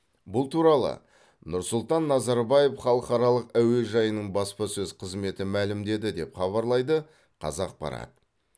бұл туралы нұрсұлтан назарбаев халықаралық әуежайының баспасөз қызметі мәлімдеді деп хабарлайды қазақпарат